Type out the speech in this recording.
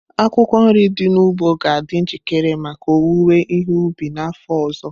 Akwụkwọ nri dị n'ugbo ga-adị njikere maka owuwe ihe ubi n'afọ ọzọ.